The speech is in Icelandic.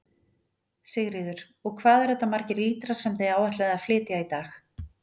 Sigríður: Og hvað eru þetta margir lítrar sem þið áætlið að flytja í dag?